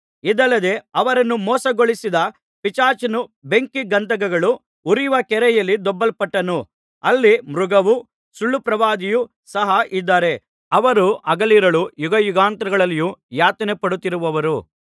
ಇದಲ್ಲದೆ ಅವರನ್ನು ಮೋಸಗೊಳಿಸಿದ ಪಿಶಾಚನು ಬೆಂಕಿ ಗಂಧಕಗಳು ಉರಿಯುವ ಕೆರೆಯಲ್ಲಿ ದೊಬ್ಬಲ್ಪಟ್ಟನು ಅಲ್ಲಿ ಮೃಗವೂ ಸುಳ್ಳುಪ್ರವಾದಿಯೂ ಸಹ ಇದ್ದಾರೆ ಅವರು ಹಗಲಿರುಳು ಯುಗಯುಗಾಂತರಗಳಲ್ಲಿಯೂ ಯಾತನೆ ಪಡುತ್ತಿರುವರು